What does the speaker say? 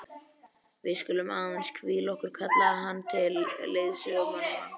Við skulum aðeins hvíla okkur, kallaði hann til leiðsögumannanna.